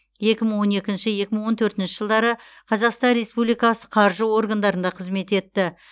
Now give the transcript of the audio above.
екі мың он екінші екі мың он төртінші жылдары қазақстан республикасы қаржы органдарында қызмет етті